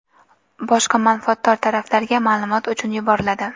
boshqa manfaatdor taraflarga maʼlumot uchun yuboriladi.